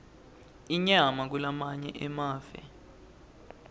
inyama kulamanye emave